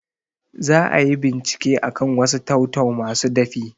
Za ayi bincike akan wasu tau-tau masu dafi